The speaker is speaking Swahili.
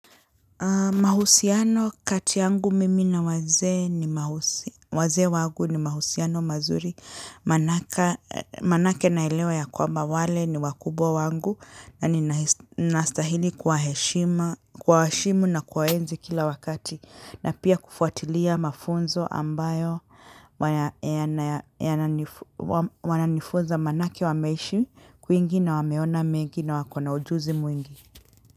Mahusiano kati yangu mimi na wazee ni wazee wangu ni mahusiano mazuri manake naelewa ya kwamba wale ni wakubwa wangu na ninastahili kuwaheshimu na kuwa enzi kila wakati na pia kufuatilia mafunzo ambayo wananifunza manake wameishi kwingi na wameona mengi na wakona ujuzi mwingi.